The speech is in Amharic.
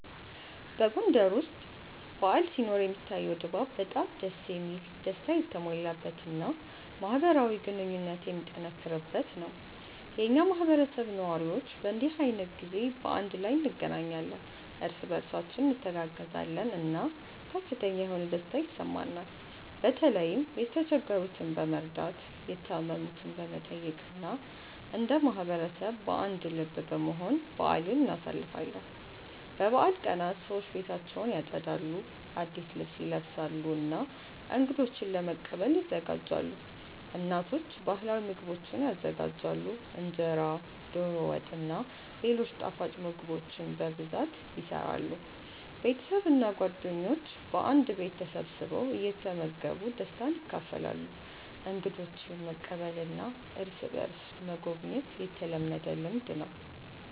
በጎንደር ውስጥ በዓል ሲኖር የሚታየው ድባብ በጣም ደስ የሚል፣ ደስታ የተሞላበት እና ማህበራዊ ግንኙነት የሚጠነክርበት ነው። የኛ ማህበረሰብ ነዋሪዎች በእንዲህ ዓይነት ጊዜ በአንድ ላይ እንገናኛለን፣ እርስ በእርሳችን እንተጋገዛለን እና ከፍተኛ የሆነ ደስታ ይሰማናል። በተለይም የተቸገሩትን በመርዳት፣ የታመሙትን በመጠየቅ እና እንደ ማህበረሰብ በአንድ ልብ በመሆን በአልን እናሳልፋለን። በበዓል ቀናት ሰዎች ቤታቸውን ያጸዳሉ፣ አዲስ ልብስ ይለብሳሉ እና እንገዶችን ለመቀበል ይዘጋጃሉ። እናቶች ባህላዊ ምግቦችን ይዘጋጃሉ፣ እንጀራ፣ ዶሮ ወጥ እና ሌሎች ጣፋጭ ምግቦች በብዛት ይሰራሉ። ቤተሰብ እና ጓደኞች በአንድ ቤት ተሰብስበው እየተመገቡ ደስታን ያካፍላሉ። እንግዶችን መቀበልና እርስ በእርስ መጎብኘት የተለመደ ልምድ ነው።